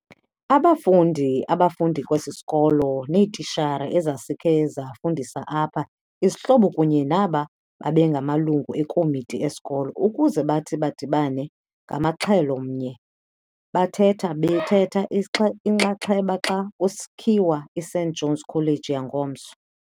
abafundi abafundi kwesi sikolo, neetitshala ezazikhe zafundisa apha, izihlobo kunye naba babengamalungu ekomiti esikolo, ukuze bathi badibane ngamaxhelo mnye bathetha bethetha inxaxheba xa kusakhiwa iSt John's College yangomso.